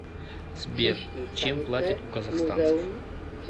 сбер чем платят у казахстанцев